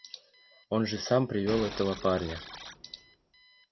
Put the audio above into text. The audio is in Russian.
он же сам привёл этого парня